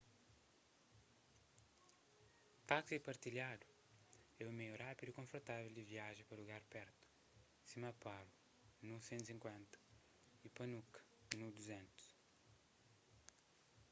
táksis partilhadu é un meiu rápidu y konfortável di viaja pa lugaris pertu sima paro nu 150 y punakha nu 200